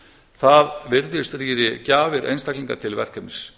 það virðist rýra gjafir einstaklinga til verkefnisins